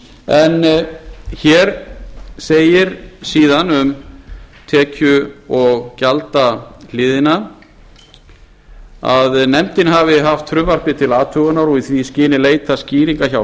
en hér segir síðan um tekju og gjaldahliðina að nefndin hafi haft frumvarpið til athugunar og í því skyni leitað skýringa hjá